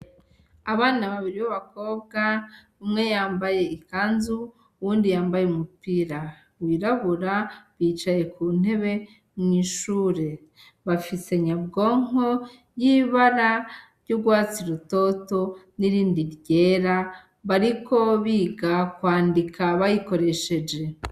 Abana babiri b'abakobwa, umwe yambaye ikanzu, uwundi yambaye umupira wirabura, bicaye ku ntebe mw'ishure. Bafise nyabwonko y'ibara ry'ugwatsi rutoto n'irindi gera bariko biga kwandika bayikoresheje.